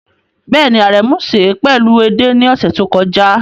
Bẹ́ẹ̀ni, Aremu sè é pẹ̀lú ẹde ní ọ̀sẹ̀ tó kọjá.